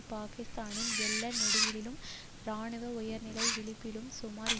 பாக்கிஸ்தானின் எல்லை நெடுகிலும் இராணுவ உயர்நிலை விழிப்பில் சுமார்ஏழு